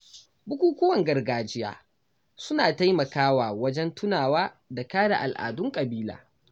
Bukukuwan gargajiya suna taimakawa wajen tunawa da kare al’adun ƙabila.